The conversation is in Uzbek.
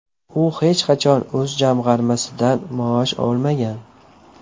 U hech qachon o‘z jamg‘armasidan maosh olmagan.